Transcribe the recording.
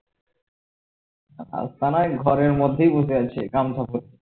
রাস্তা না ঘরের মধ্যেই বসে আছে গামছা পরে